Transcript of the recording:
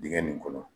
Dingɛ nin kɔnɔ